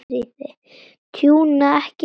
Tjúna, ekki skræla.